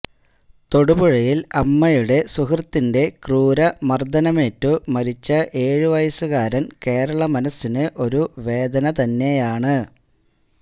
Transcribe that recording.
തൊടുപുഴയില് അമ്മയുടെ സുഹൃത്തിന്റെ ക്രൂരമര്ദ്ദനമേറ്റു മരിച്ച ഏഴുവയസ്സുകാരന് കേരളമനസ്സിന് ഒരു വേദനതന്നെയാണ്